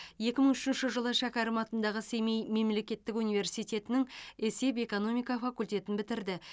екі мың үшінші жылы шәкәрім атындағы семей мемлекеттік университетінің есеп экономика факультетін бітірді